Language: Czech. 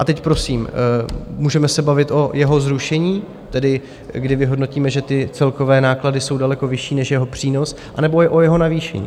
A teď prosím, můžeme se bavit o jeho zrušení, tedy kdy vyhodnotíme, že ty celkové náklady jsou daleko vyšší než jeho přínos, anebo jde o jeho navýšení.